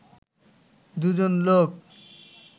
দুজন লোক